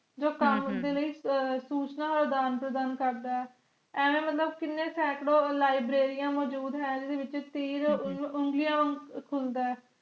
ਜੋ ਹਮ ਕਾਵਾਂ ਦੇ ਲਾਇ ਸੂਜਨ ਦਾਨ ਪ੍ਰਦਾਨ ਕਰਦਾ ਐਵੇਂ ਮੁਤਲਿਬ ਕੀਨੇ librarian ਮਜੂਦ ਹੈ ਜਿੰਦੇ ਵਿਚ ਤੀਰ ਉਂਗਲੀਆਂ ਖੁਲਦੇ ਲਿਬ੍ਰਾਰੀਆਂ